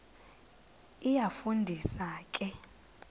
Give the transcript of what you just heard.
iyafu ndisa ke